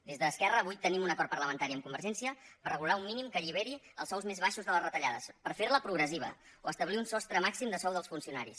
des d’esquerra avui tenim un acord parlamentari amb convergència per regular un mínim que alliberi els sous més baixos de les retallades per ferla progressiva o establir un sostre màxim de sou dels funcionaris